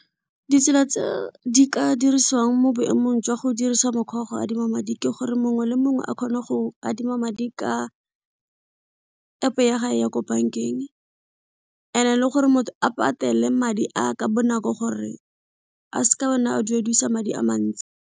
Ditsela tse di ka dirisiwang mo boemong jwa go dirisa mokgwa wa go adima madi ke gore mongwe le mongwe a kgone go adima madi ka App ya gage ya ko bank-eng and-e leng gore motho a patele madi a ka bonako gore a se ka a duedisa madi a mantsi.